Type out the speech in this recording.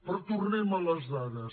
però tornem a les dades